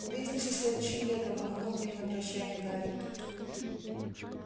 увидимся следующим летом махнул им на прощанье гарри